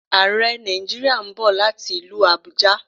Àrẹ Nàìjíríà ń bọ̀ láti ilú Àbújá